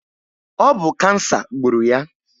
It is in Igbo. Ọ bụ kansa gburu ya